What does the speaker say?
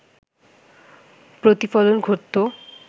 প্রতিফলন ঘটতো